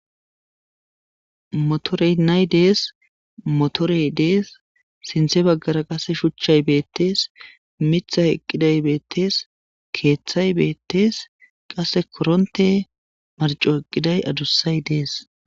Motere na'i dese motere dess sintha bagara qaase shshuchchay beetes mithiy eqqidays beetes qase koronte marcco eqqiday addusay dees